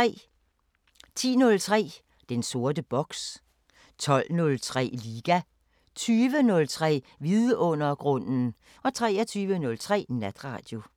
10:03: Den sorte boks 12:03: Liga 20:03: Vidundergrunden 23:03: Natradio